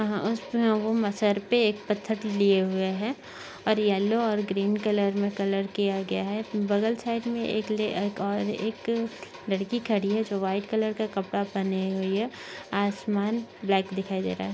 Sir पे एक पत्थर लिए हुए है और येल्लो और ग्रीन कलर मे कलर किया गया है। बगल साइड मे एक ले एक और एक लड़की खड़ी है जो व्हाइट कलर का कपड़ा पहने हुए है आसमान ब्लॅक दिखाई दे रहा है।